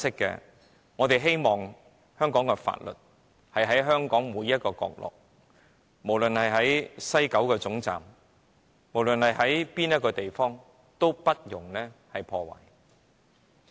然而，我們希望香港的法律在香港的每個角落實行，不論是西九龍總站或任何一處地方，均不容有阻。